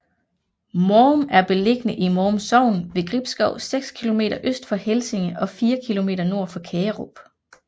Mårum er beliggende i Mårum Sogn ved Gribskov seks kilometer øst for Helsinge og fire kilometer nord for Kagerup